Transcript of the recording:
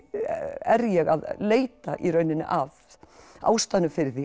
er ég að leita í rauninni að ástæðunni fyrir því